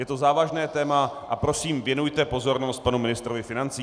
Je to závažné téma a prosím, věnujte pozornost panu ministrovi financí.